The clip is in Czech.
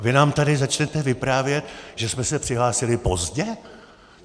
A vy nám tady začnete vyprávět, že jsme se přihlásili pozdě?